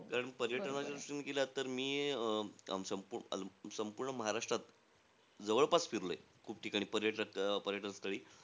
कारण पर्यटनाच्या दृष्टीने गेलात तर मी अं सं संपूर्ण महाराष्ट्रात, जवळपास फिरलोय, खूप ठिकाणी पर्यटक अं पर्यटन स्थळी.